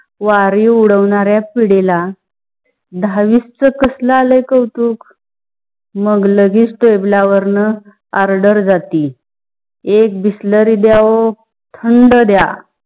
वारे उद्दावनाराया पिडी ला दहा वीस च्‍या कसलं आलाय कौतुक? मग लगीच टेबला वरण order जाती एक bisleri दया वो, थंड दया